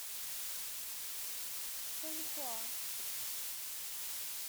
фэнхуа